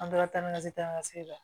An taara ni ka se taa se la